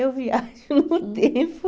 Eu viajo no tempo...